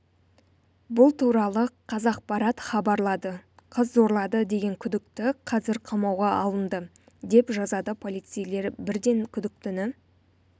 бұл туралы қазақпарат хабарлады қыз зорлады деген күдікті қазір қамауға алынды деп жазады полицейлер бірден күдіктіні